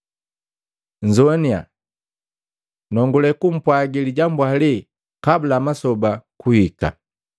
Nzowaniya! Nongule kumpwagi lijambu hale kabula masoba kuhika.”